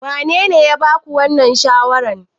Wanene ya ba ku wannan shawarar?